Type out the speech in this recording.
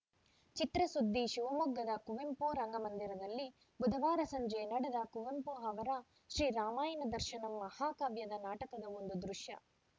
ಚಿತ್ರಸುದ್ದಿ ಶಿವಮೊಗ್ಗದ ಕುವೆಂಪು ರಂಗಮಂದಿರದಲ್ಲಿ ಬುಧವಾರ ಸಂಜೆ ನಡೆದ ಕುವೆಂಪು ಅವರ ಶ್ರೀ ರಾಮಾಯಣ ದರ್ಶನಂ ಮಹಾಕಾವ್ಯದ ನಾಟಕದ ಒಂದು ದೃಶ್ಯ